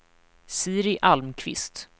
Siri Almqvist